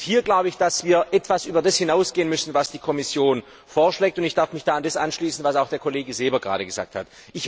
Und hier glaube ich, dass wir etwas über das hinausgehen müssen, was die Kommission vorschlägt, und ich darf mich da dem anschließen, was auch der Kollege Seeber gerade gesagt hat.